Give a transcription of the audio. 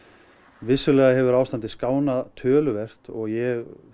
vissulega hefur ástandið skánað töluvert og ég